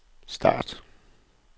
start